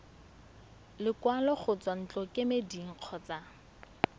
lekwalo go tswa ntlokemeding kgotsa